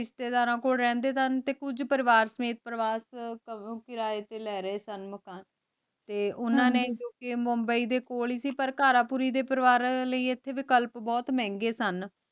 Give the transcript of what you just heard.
ਰਿਸ਼ਤੇ ਦਰਾਂ ਕੋਲ ਰੇਹ੍ਨ੍ਡੇ ਸਨ ਤੇ ਕੁਜ ਪਰਿਵਾਰ ਸਮੀਤ ਕਿਰਾਯ ਤੇ ਲੇ ਰਹੀ ਸਨ ਮਕਾਨ ਤੇ ਓਨਾਂ ਨੇ ਜੋ ਕੇ ਮੁੰਬਈ ਦੇ ਕੋਲ ਈ ਸੀ ਤੇ ਘਰ ਪੂਰੀ ਦੇ ਪਰਿਵਾਰ ਲੈ ਏਥੇ ਵੀਕਲੀ ਬੋਹਤ ਮੇਹ੍ਨ੍ਗਾਯ ਸਨ